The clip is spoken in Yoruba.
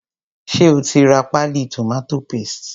Ṣé o ti ra páálí tomato paste?